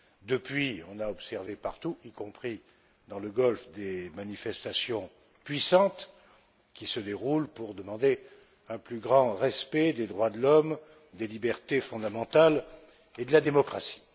Depuis, on a observé partout y compris dans le Golfe des manifestations puissantes, qui se déroulent pour demander un plus grand respect des droits de l'homme, des libertés fondamentales et de la démocratie.